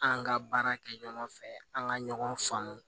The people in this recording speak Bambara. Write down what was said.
An ka baara kɛ ɲɔgɔn fɛ an ka ɲɔgɔn faamu